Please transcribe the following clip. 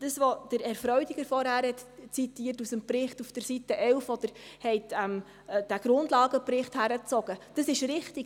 Was Herr Freudiger vorhin aus Seite 11 des Berichts zitiert hat, bei dem er diesen Grundlagenbericht herangezogen hat, ist richtig: